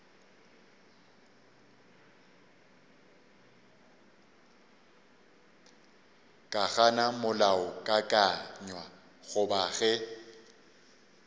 ka gana molaokakanywa goba ge